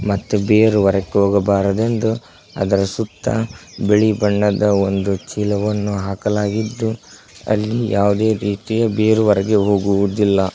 ಮತ್ತೆ ಬಿಯರ್ ಹೊರಕ್ಕ ಹೋಗಬಾರದೆಂದು ಅದರ್ ಸುತ್ತ ಬಿಳಿ ಬಣ್ಣದ ಒಂದು ಚೀಲವನ್ನು ಹಾಕಲಾಗಿದ್ದು ಅಲ್ಲಿ ಯಾವ್ದೆ ರೀತಿ ಬೀರ್ ಹೊರಗೆ ಹೋಗುವುದಿಲ್ಲ.